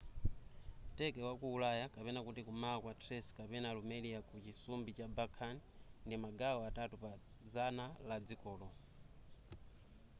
turkey wa ku ulaya kum'mawa kwa thrace kapena rumelia ku chisumbu cha balkan ndi magawo atatu pa zana la dzikolo